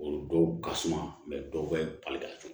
O dɔw ka suma dɔw bɛ bali ka